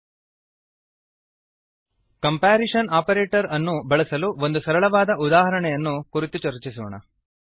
comparison operator comparison operator ಅನ್ನು ಬಳಸಲು ಒಂದು ಸರಳವಾದ ಉದಾಹರಣೆಯನ್ನು ಕುರಿತು ಚರ್ಚಿಸೋಣ